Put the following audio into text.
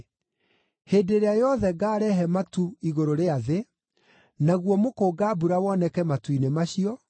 Hĩndĩ ĩrĩa yothe ngaarehe matu igũrũ rĩa thĩ, naguo mũkũnga-mbura woneke matu-inĩ macio,